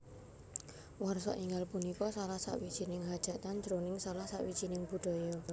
Warsa enggal punika salah sawijining hajatan jroning salah sawijining budaya